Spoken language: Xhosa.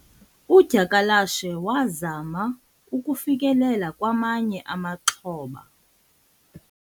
udyakalashe wazama ukufikelela kwamanye amaxhoba